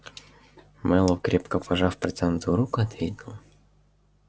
мэллоу крепко пожав протянутую руку ответил